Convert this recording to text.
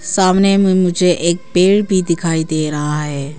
सामने में मुझे एक पेड़ भी दिखाई दे रहा है।